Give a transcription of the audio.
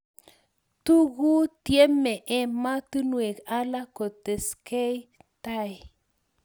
tuku tyemei emotinwek alak kotesgei tai